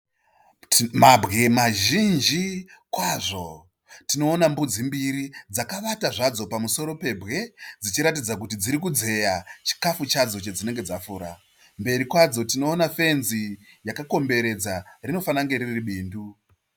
Mabwe mazhinji kwazvo. Mbudzi mbiri dzakavata zvadzo pamusoro pebwe dzichiratidza kuti dziri kudzeya chikafu chadzo chadzinenge dzafura. Mberi kwadzo kunefenzi yakakomberedza, rinofanira kunge riri bindu.